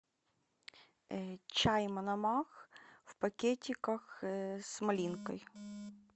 чай мономах в пакетиках с малинкой